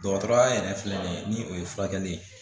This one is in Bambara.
Dɔgɔtɔrɔya yɛrɛ filɛ nin ye ni o ye furakɛli ye